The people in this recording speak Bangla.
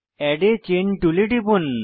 এড a চেইন টুলে টিপুন